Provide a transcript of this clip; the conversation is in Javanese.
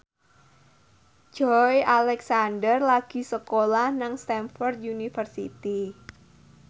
Joey Alexander lagi sekolah nang Stamford University